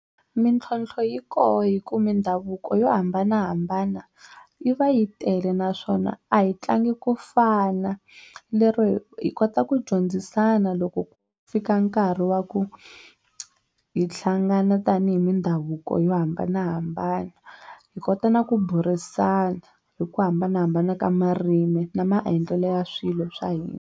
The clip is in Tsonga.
Mintlhontlho yi koho hi ku mindhavuko yo hambanahambana yi va yi tele naswona a hi tlangi ku fana lero hi kota ku dyondzisana loko ku fika nkarhi wa ku hi hlangana tanihi mindhavuko yo hambanahambana hi kota na ku burisana hi ku hambanahambana ka marimi na maendlelo ya swilo swa hina.